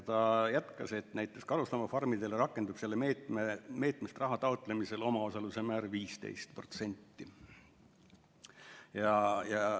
Ta jätkas, et näiteks karusloomafarmidele rakendub sellest meetmest raha taotlemisel omaosaluse määr 15%.